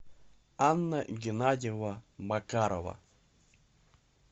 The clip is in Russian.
анна геннадьевна макарова